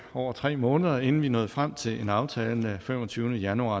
over tre måneder inden vi nåede frem til en aftale den femogtyvende januar